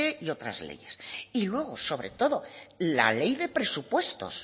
y otras leyes y luego sobre todo la ley de presupuestos